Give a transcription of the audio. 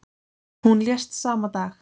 Hún lést sama dag.